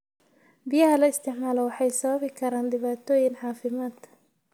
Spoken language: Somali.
Biyaha la isticmaalo waxay sababi karaan dhibaatooyin caafimaad.